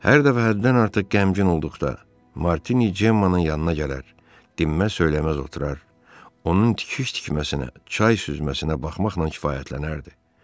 Hər dəfə həddən artıq qəmgin olduqda Martini Cemmanın yanına gələr, dinməz söyləməz oturaraq onun tikiş tikməsinə, çay süzməsinə baxmaqla kifayətlənərdi.